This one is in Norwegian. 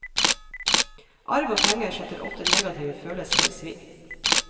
Arv og penger setter ofte negative følelser i sving.